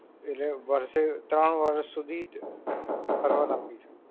એટલે વર્ષે, ત્રણ વર્ષ સુધી ભરવાના પૈસા.